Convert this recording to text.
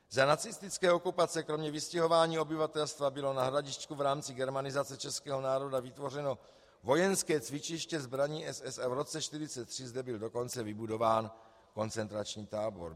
Za nacistické okupace kromě vystěhování obyvatelstva bylo na Hradišťku v rámci germanizace českého národa vytvořeno vojenské cvičiště zbraní SS a v roce 1943 zde byl dokonce vybudován koncentrační tábor.